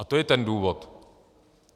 A to je ten důvod.